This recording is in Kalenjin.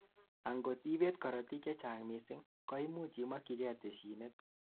angot ibet korotik chechang missing, koimuch imokyigei tessiinet